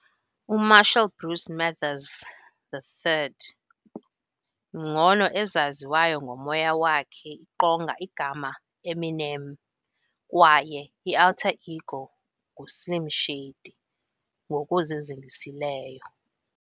uMarshall Bruce Mathers III, ngcono ezaziwayo ngomoya wakhe iqonga igama Eminem kwaye alter-ego Slim Shady ngokuzingisileyo.